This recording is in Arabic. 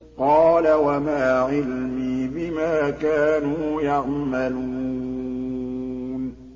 قَالَ وَمَا عِلْمِي بِمَا كَانُوا يَعْمَلُونَ